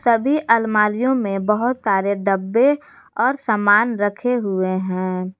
सभी अलमारीयो में बहुत सारे डब्बे और सामान रखे हुए हैं।